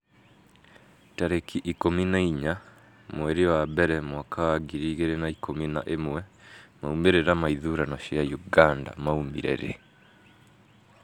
tarĩki ikũmi na inya mweri wa mbere mwaka wa ngiri igĩrĩ na ikũmi na ĩmwemaumĩrĩra ma ithurano cia Uganda maumire rĩ?